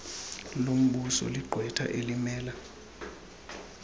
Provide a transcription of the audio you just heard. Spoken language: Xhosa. lombuso ligqwetha elimela